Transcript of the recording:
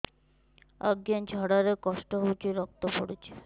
ଅଜ୍ଞା ଝାଡା ରେ କଷ୍ଟ ହଉଚି ରକ୍ତ ପଡୁଛି